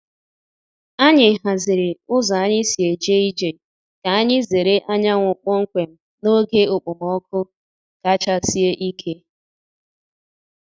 Anyị haziri ụzọ anyị si eje ije ka anyị zere anyanwụ kpọmkwem n’oge okpomọkụ kacha sie ike.